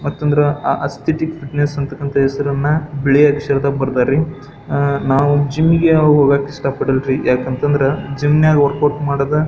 ಮತ್ತಂದ್ರ ಆಹ್ಹ್ ಸ್ಥಿತಿ ಫಿಟ್ನೆಸ್ ಅಂತಕ್ಕಂತ ಹೆಸರನ್ನ ಬಿಳಿ ಅಕ್ಷರದಾಗ್ ಬರೆದರ್ ರೀ ಅ ನಾವು ಜಿಮ್ಗೆ ಹೋಗೋಕ್ ಇಷ್ಟ ಪಡೋಲ್ಲ ರೀ ಯಾಕಂತಂದ್ರ ಜಿಮ್ನಗೆ ವರ್ಕೌಟ್ ಮಾಡೋದ --